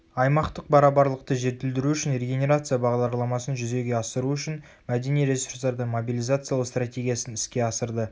аймақтық барабарлықты жетілдіру үшін регенерация бағдарламасын жүзеге асыру үшін мәдени ресурстарды мобилизациялау стратегиясын іске асырды